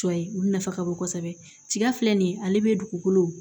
Cɔ ye olu nafa ka bon kosɛbɛ tiga filɛ nin ye ale bɛ dugukolo